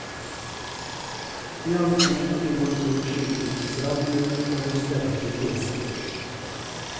I ansiktet kunne man såvidt skimte en stram munn mellom sterke kjever.